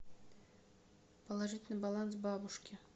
положить на баланс бабушке